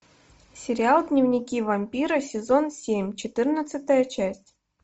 сериал дневники вампира сезон семь четырнадцатая часть